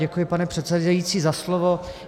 Děkuji, pane předsedající, za slovo.